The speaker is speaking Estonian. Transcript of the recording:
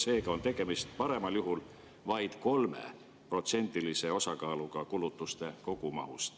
Seega on tegemist paremal juhul vaid 3%-lise osakaaluga kulutuste kogumahus.